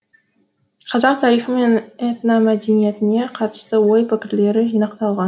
қазақ тарихы мен этномәдениетіне қатысты ой пікірлері жинақталған